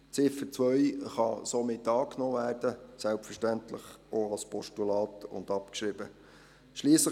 Die Ziffer 2 kann somit angenommen – selbstverständlich auch als Postulat – und abgeschrieben werden.